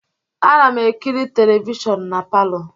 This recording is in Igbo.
Ana m ekiri televishọnụ na palọ.